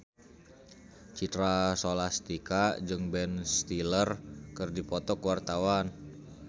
Citra Scholastika jeung Ben Stiller keur dipoto ku wartawan